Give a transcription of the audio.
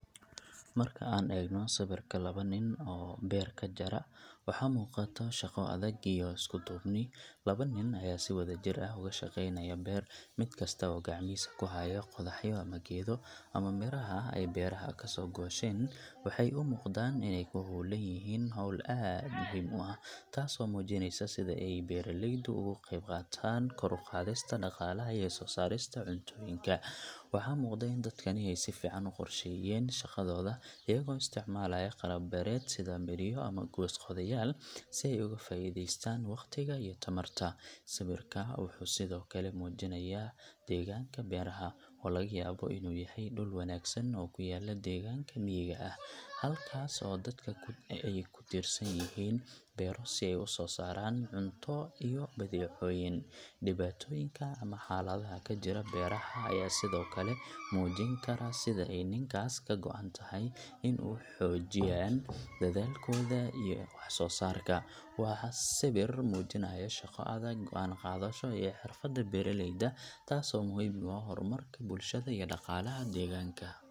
Marka aan eegno sawirka laba nin oo beer ka jara, waxa muuqata shaqo adag iyo isku duubni. Laba nin ayaa si wadajir ah uga shaqeynaya beer, mid kasta oo gacmihiisa ku haya qodaxyo ama geedo ama miraha ay beeraha ka soo goosheen. Waxay u muuqdaan inay ku hawlan yihiin hawl aad muhiim u ah, taasoo muujinaysa sida ay beeralaydu uga qayb qaataan kor u qaadista dhaqaalaha iyo soo saarista cuntooyinka. Waxaa muuqda in dadkani ay si fiican u qorsheeyeen shaqadooda, iyagoo isticmaalaya qalab beereed sida midhiyo ama goos-qodayaal si ay uga faa'iidaystaan waqtiga iyo tamarta. Sawirka wuxuu sidoo kale muujinayaa deegaanka beeraha, oo laga yaabo inuu yahay dhul wanaagsan oo ku yaal deegaanka miyiga ah, halkaas oo dadka ay ku tiirsan yihiin beero si ay u soo saaraan cunto iyo badeecooyin. Dhibaatooyinka ama xaaladaha ka jira beeraha ayaa sidoo kale muujin kara sida ay ninkaas ka go’an tahay in uu xoojiyaan dadaalkooda iyo wax-soo-saarka. Waa sawir muujinaya shaqo adag, go'aan qaadasho iyo xirfadda beeralayda, taasoo muhiim u ah horumarka bulshada iyo dhaqaalaha deegaanka.